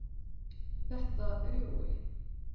Þetta er Jói!